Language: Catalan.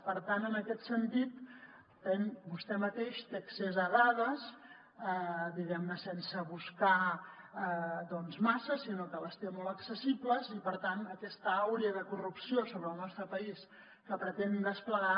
per tant en aquest sentit vostè mateix té accés a dades diguem ne sense buscar doncs massa sinó que les té molt accessibles i per tant aquesta aura de corrupció sobre el nostre país que pretén desplegar